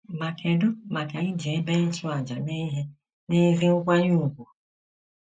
Ma kedụ maka iji ebe ịchụàjà eme ihe n'ezi nkwanye ùgwù?